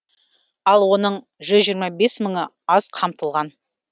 ал оның жүз жиырма бес мыңы аз қамтылған